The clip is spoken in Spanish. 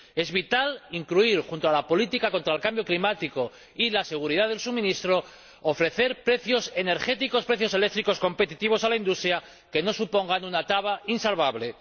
Es vital, junto a la política contra el cambio climático y la seguridad del suministro, ofrecer precios energéticos, precios eléctricos competitivos a la industria que no supongan una traba insalvable.